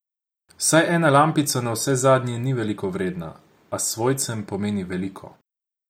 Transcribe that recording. Saj ena lampica navsezadnje ni veliko vredna, a svojcem pomeni veliko.